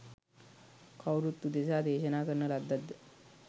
කවුරුන් උදෙසා දේශනා කරන ලද්දක්ද?